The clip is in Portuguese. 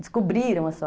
Descobriram a so